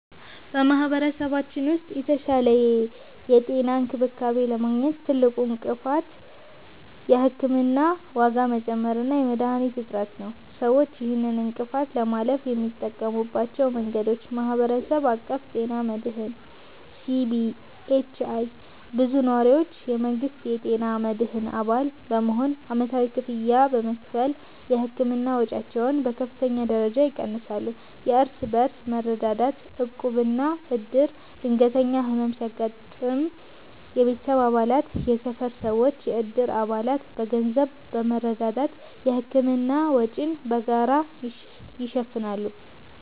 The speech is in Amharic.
በማኅበረሰባችን ውስጥ የተሻለ የጤና እንክብካቤ ለማግኘት ትልቁ እንቅፋት የሕክምና ዋጋ መጨመር እና የመድኃኒቶች እጥረት ነው። ሰዎች ይህንን እንቅፋት ለማለፍ የሚጠቀሙባቸው መንገዶች፦ የማኅበረሰብ አቀፍ ጤና መድህን (CBHI)፦ ብዙ ነዋሪዎች የመንግሥትን የጤና መድህን አባል በመሆን ዓመታዊ ክፍያ በመክፈል የሕክምና ወጪያቸውን በከፍተኛ ደረጃ ይቀንሳሉ። የእርስ በርስ መረዳዳት (ዕቁብና ዕድር)፦ ድንገተኛ ሕመም ሲያጋጥም የቤተሰብ አባላት፣ የሰፈር ሰዎችና የዕድር አባላት በገንዘብ በመረዳዳት የሕክምና ወጪን በጋራ ይሸፍናሉ።